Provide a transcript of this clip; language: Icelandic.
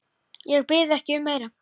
Ég bið ekki um meira.